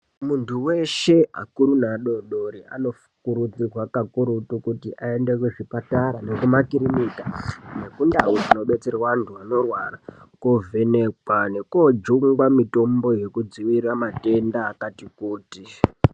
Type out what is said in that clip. Muntu weshe akuru neadoodori anokurudzirwa kakurutu kuti aende kuzvipatara nekumakirinika nekundau dzinobetserwa antu anorwara koovhenekwa nekoojungwa mitombo yekudziirira matenda akati kuti.